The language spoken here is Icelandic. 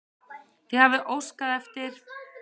Þið hafið óskað eftir.